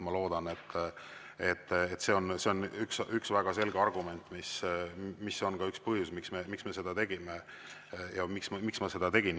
Ma loodan, et see on üks väga selge argument, ka üks põhjus, miks me seda tegime ja miks ma seda tegin.